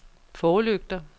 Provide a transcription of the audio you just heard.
forlygter